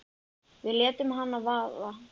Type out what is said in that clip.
Við létum hana vaða.